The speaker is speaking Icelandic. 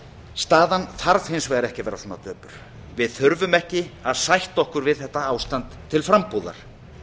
staðan þarf hins vegar ekki að vera svona döpur við þurfum ekki að sætta okkur við þetta ástand til frambúðar